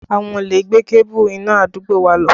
Àwọn olè gé kébù iná àdúgbò wa lọ